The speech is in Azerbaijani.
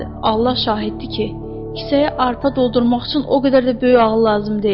Allah şahiddir ki, kisəyə arpa doldurmaq üçün o qədər də böyük ağıl lazım deyil.